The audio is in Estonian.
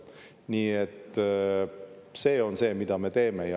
Nii et see on see, mida me teeme.